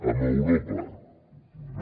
amb europa no